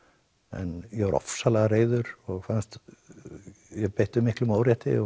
en ég var ofsalega reiður og fannst ég beittur miklum órétti og